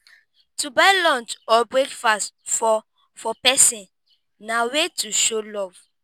to buy lunch or breakfast for for persin na wey to show love